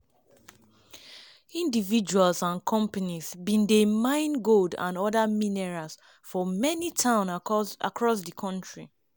individuals and companies bin dey mine gold and oda minerals for many towns across di kontri.